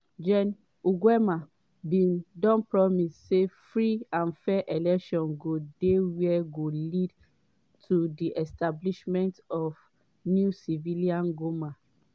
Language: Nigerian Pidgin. gen nguema bn don promise say free and fair elections go dey wey go lead to di establishment of new civilian goment.